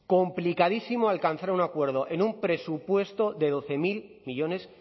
complicadísimo alcanzar un acuerdo en un presupuesto de doce mil millónes